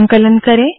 संकलन करे